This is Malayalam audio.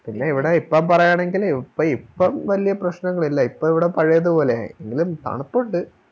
പിന്നെ ഇവിടെ ഇപ്പം പറയാണെങ്കില് ഇപ്പം വല്യ പ്രശ്നങ്ങളില്ല ഇപ്പൊ ഇവിടെ പഴയത് പോലായി എങ്കിലും തണുപ്പിണ്ട്